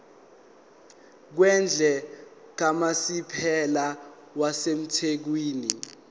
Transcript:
kwendle kamasipala wasethekwini